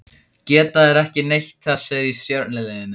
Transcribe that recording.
Geta þeir ekki neitt þessir í stjörnuliðinu?